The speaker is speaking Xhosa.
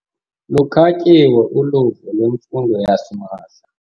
Lukhatyiwe uluvo lwemfundo yasimahla.